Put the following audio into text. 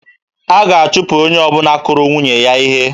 A ga-achụpụ onye ọbụla kụrụ nwunye ya ihe